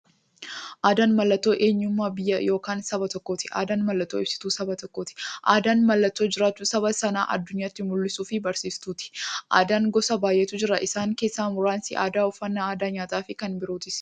Aadaan mallattoo eenyummaa biyya yookiin saba tokkooti. Aadaan mallattoo ibsituu saba tokkooti. Aadaan mallattoo jiraachuu saba sanaa addunyyaatti mul'istuufi barsiiftuuti. Aadaan gosa baay'eetu jira. Isaan keessaa muraasni aadaa uffannaa, aadaa nyaataafi kan birootis.